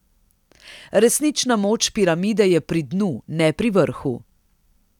Resnična moč piramide je pri dnu, ne pri vrhu.